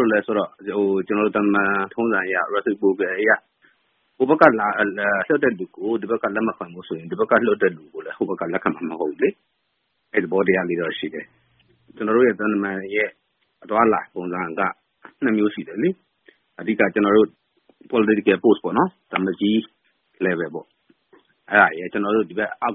လို့လည်းဆိုတော့ ကျနော်တို့ သံတမန်ထုံးစံအရ ဟိုဘက်ကလွှတ်တဲ့သူကို ဒီဘက်က လက်မခံဘူးဆိုရင် ဒီဘက်ကလွှတ်တဲ့သူကို ဟိုဘက်က လက်ခံမှာမဟုတ်ဘူးလေ။ အဲဒီသဘောတရားတော့ ရှိတယ်။ ကျနော်တို့ရဲ့ သံတမန် အသွားအလာပုံစံက နှစ်မျိုးရှိတယ်။ အဓိက သံအမတ်ကြီးလို နိုင်ငံရေးရာထူးအဆင့်နဲ့ သံမှူးကြီးအဆင့် အောက် ကျနော်တို့လို သံတမန်ဝန်ထမ်းတွေ အောက်ခြေ သံရုံးစာရေးထိ အ